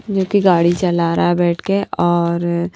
जो कि गाड़ी चला रहा है बैठ के और।